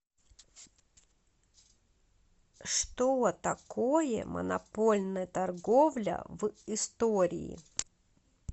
что такое монопольная торговля в истории